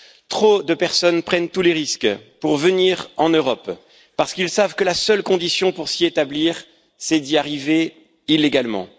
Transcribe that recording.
Trop de personnes prennent tous les risques pour venir en Europe, parce qu'ils savent que la seule condition pour s'y établir, c'est d'y arriver illégalement.